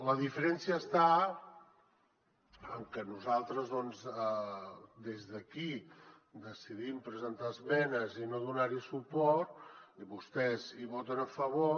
la diferència està en que nosaltres doncs des d’aquí decidim presentar esmenes i no donar hi suport i vostès hi voten a favor